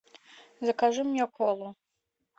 закажи мне колу